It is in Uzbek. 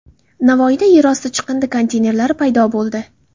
Navoiyda yer osti chiqindi konteynerlari paydo bo‘ldi .